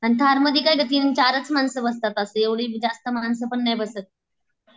आन थारमधी काय ग तीन चारच मानस बसतात असं एव्हडे बी जास्त माणसंपण नाही बसत